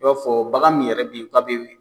O b'a fɔ bagan min yɛrɛ bɛ yen